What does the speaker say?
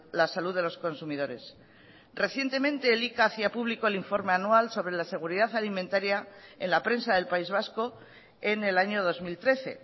la salud de los consumidores recientemente elika hacía público el informe anual sobre la seguridad alimentaria en la prensa del país vasco en el año dos mil trece